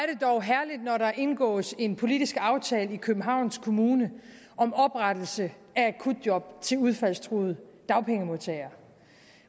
herligt når der indgås en politisk aftale i københavns kommune om oprettelse af akutjob til udfaldstruede dagpengemodtagere